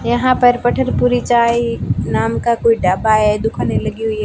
यहां पर पठन पूरी चाय नाम का कोई ढाबा है दुकानें लगी हुई है।